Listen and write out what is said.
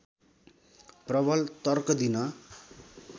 प्रबल तर्क दिन